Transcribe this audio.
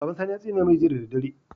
Baban sani ya tsine mai Jiya da daddare